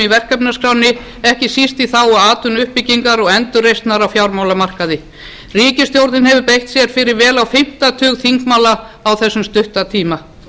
í verkefnaskránni ekki síst í þágu atvinnuuppbyggingar og endurreisnar á fjármálamarkaði ríkisstjórn hefur beitt sér fyrir vel á fimmta tug þingmála á þessum stutta tíma